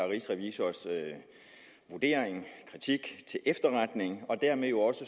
rigsrevisors vurdering kritik til efterretning og dermed jo også